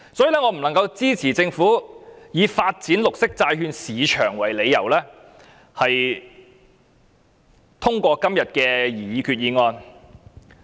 因此，我不能支持政府以發展綠色債券市場為理由動議今天的擬議決議案。